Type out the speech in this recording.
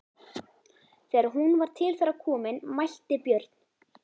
Þegar hún var til þeirra komin mælti Björn